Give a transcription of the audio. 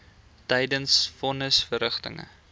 tydens von nisverrigtinge